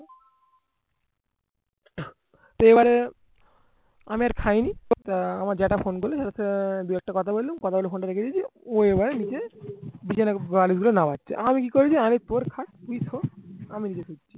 এবারে আমি আর খাইনি আহ আমার জেঠা ফোন করলেন আহ দুই একটা কথা বললুম কথা বলে ফোন টা রেখে দিয়েছিলুম ও এবার নিজে নামাচ্ছে আমি কি করেছি আমি তুই আমি